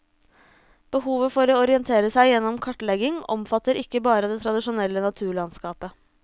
Behovet for å orientere seg gjennom kartlegging omfatter ikke bare det tradisjonelle naturlandskapet.